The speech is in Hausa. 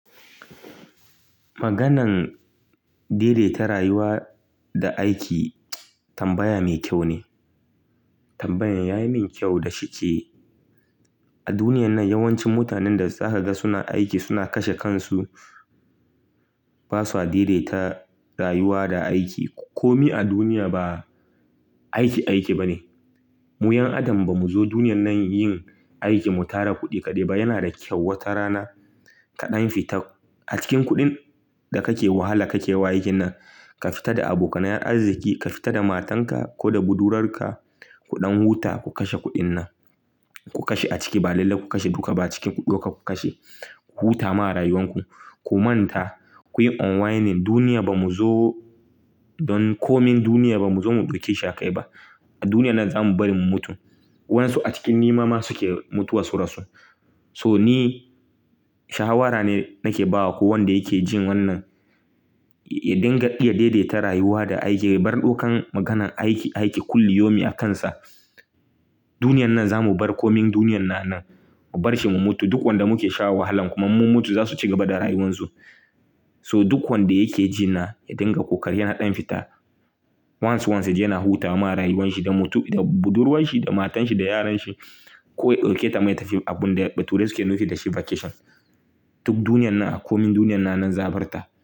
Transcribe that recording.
Maganan daidaita rayuwa da aiki tambaya mai kyau ne. Tambayan ya yi min kyau da shi ke a duniyar nan yawancin mutanen da za ka ga suna aiki suna kashe kansu. Ba sa daidaita rayuwa da aiki. Komi a duniya ba aiki, aiki ba ne. Mu 'yan adam ba mu zo duniyar nan yin aiki mu tara kuɗi kaɗai ba. Yana da kyau wata rana ka ɗan fita a cikin kuɗin da kake wahala, kake wa ai kin nan. Ka fita da abokanan arziki, ka fita da matanka ko da budurarka. Kuɗan huta ku kashe kuɗin nan. Ku kashe a ciki, ba lalle ku kashe duka ba, ciki ku ɗauka ku kashe. Ku huta ma rayuwanku, ku manta, ku yi unwinding. Duniya ba mu zo don komin duniya ba mu zo mi dauke shi akai ba. A duniyar nan za mu bari mu mutu. Wansu a cikin nema ma su ke mutuwa surasu. So ni shawara ne nake ba wa ko wanda yake jin wannan ya dinga iya daidaita rayuwa da aiki. Ya bar ɗaukan maganan aiki, aiki kulli yaumin akansa. Duniyar nan za mu bar komin duniyar nan nan mu bar shi mu mutu. Duk wanda muke sha wahalan kuma mun mutu za su ci gaba da rayuwansu. So duk wanda yake ji na ya dinga kokari ya na ɗan fita. Once once ya je yana huta ma rayuwan shi da mutu-- da budurwan shi, da matan shi, da yaran shi. Ko ya dauke ta ma tafi abun da bature suke nufi da shi vacation. Duk duniyar nan a komin duniyar nan nan za a bar ta.